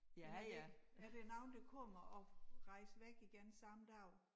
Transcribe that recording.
Men det ikke er der nogen der kommer og rejser væk igen samme dag?